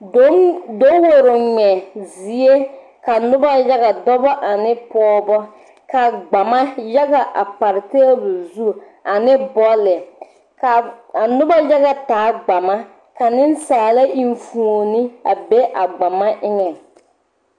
Dawore ŋmɛ zie ka nobɔ yaga dɔbɔ ane pɔɔbɔ ka gbama yaga a pare tebol zu ane bɔlle kaa a nobɔ yaga taa gbama ka nensaala eŋfuone a be a gbama eŋɛŋ.